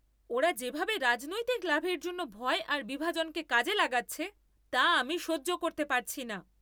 ওরা যেভাবে রাজনৈতিক লাভের জন্য ভয় আর বিভাজনকে কাজে লাগাচ্ছে, তা আমি সহ্য করতে পারছি না।